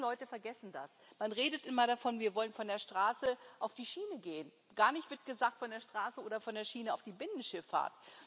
Die meisten Leute vergessen das. Man redet immer davon Wir wollen von der Straße auf die Schiene gehen. Gar nichts wird gesagt von der Straße oder von der Schiene auf die Binnenschifffahrt.